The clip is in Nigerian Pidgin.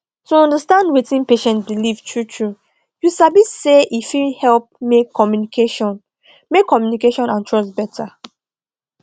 to understand wetin patient believe truetrue you sabi say e fit help make communication make communication and trust better